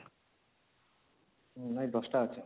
ନାହିଁ ୧୦ଟା ଅଛି